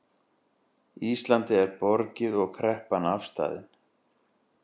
Íslandi er borgið og kreppan afstaðin